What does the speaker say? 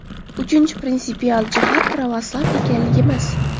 Uchinchi prinsipial jihat pravoslav ekanligimiz.